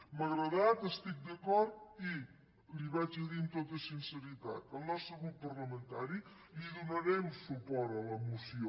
m’ha agradat hi estic d’acord i li ho diré amb tota sinceritat el nostre grup parlamentari donarem suport a la moció